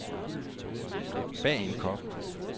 Bagenkop